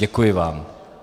Děkuji vám.